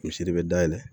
Misiri de bɛ dayɛlɛ